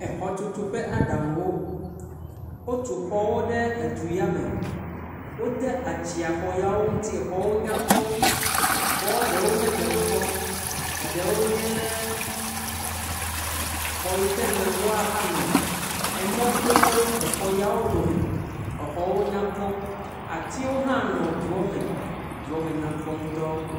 Xɔtutu ƒe aɖaŋuwo. Wotu xɔwo ɖe du ya me. Wode atsɛ̃a xɔa ŋuti xɔawo nya kpɔ. Xɔa ɖewo nye gbedoxɔ, ɖewo nye xɔ yi ke me woanɔ. Emɔ to xɔ ya wo dome. Xɔwo nya kpɔ. Atiwo hã nɔ dua me. Dua me nya kpɔ ŋutɔ.